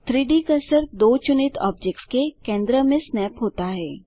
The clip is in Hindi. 3डी कर्सर दो चुनित ऑब्जेक्ट्स के केंद्र में स्नैप होता है